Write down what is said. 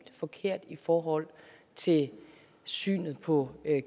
forkert i forhold til synet på